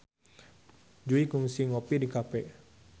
Jui kungsi ngopi di cafe